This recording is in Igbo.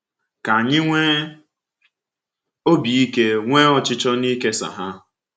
Ka anyị nwee obi ike ma nwee ọchịchọ n’ịkesa ha.